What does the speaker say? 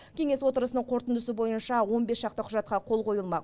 кеңес отырысының қорытындысы бойынша он бес шақты құжатқа қол қойылмақ